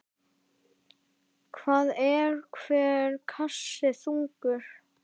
Hvað er hver kassi þungur?